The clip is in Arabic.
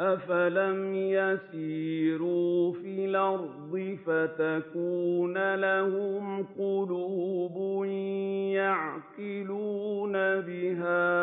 أَفَلَمْ يَسِيرُوا فِي الْأَرْضِ فَتَكُونَ لَهُمْ قُلُوبٌ يَعْقِلُونَ بِهَا